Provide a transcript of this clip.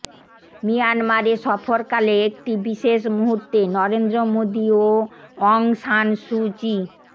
মিয়ানমারে সফরকালে একটি বিশেষ মুহূর্তে নরেন্দ্র মোদি ও অং সান সু চি